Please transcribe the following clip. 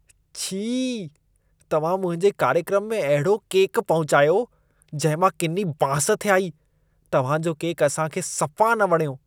छी! तव्हां मुंहिंजे कार्यक्रम में अहिड़ो केकु पहुचायो, जंहिं मां किनी बांस थे आई। तव्हां जो केकु असां खे सफा न वणियो।